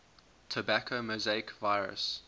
tobacco mosaic virus